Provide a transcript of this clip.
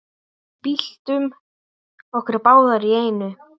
Byltum okkur báðar í einu.